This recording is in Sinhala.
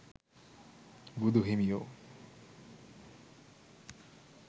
බුදු හිමියෝ